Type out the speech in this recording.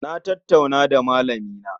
Na tattauna da malamina